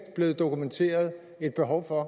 blevet dokumenteret et behov for at